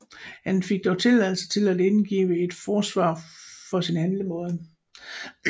Han fik dog tilladelse til at indgive et forsvar for sin handlemåde